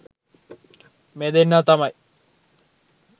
මේ දෙන්නා තමයි